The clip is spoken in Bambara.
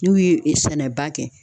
N'u ye sɛnɛba kɛ.